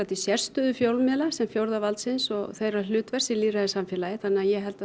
til sérstöðu fjölmiðla sem fjórða valdsins og þeirra hlutverks í lýðræðissamfélagi þannig að ég held að